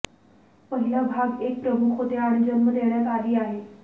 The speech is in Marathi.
पहिला भाग एक प्रमुख होते आणि जन्म देण्यात आली आहे